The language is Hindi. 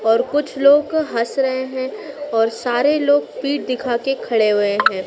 और कुछ लोग हंस रहे हैं और सारे लोग पीठ दिखा के खड़े हुए हैं।